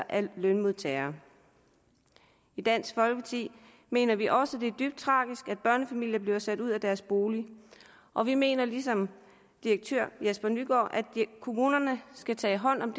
er lønmodtagere i dansk folkeparti mener vi også det er dybt tragisk at børnefamilier bliver sat ud af deres bolig og vi mener ligesom direktør jesper nygård at kommunerne skal tage hånd om